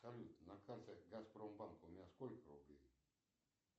салют на карте газпромбанка у меня сколькр рублей